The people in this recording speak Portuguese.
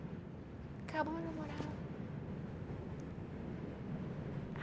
Acabou o namorado.